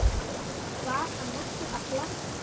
Var hann nokkuð að plata?